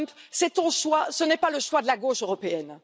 Trump, c'est ton choix, ce n'est pas le choix de la gauche européenne!